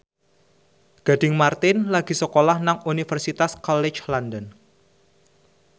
Gading Marten lagi sekolah nang Universitas College London